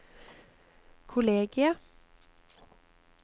kollegiet